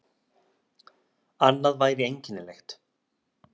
Annað væri einkennilegt.